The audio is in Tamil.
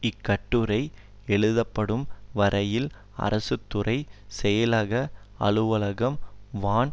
இக்கட்டுரை எழுதப்படும் வரையில் அரசு துறை செயலக அலுவலகம் வான்